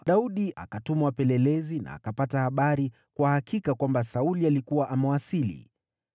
Daudi akatuma wapelelezi na akapata habari kwa hakika kwamba Sauli alikuwa amewasili.